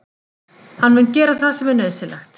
Hann mun gera það sem er nauðsynlegt.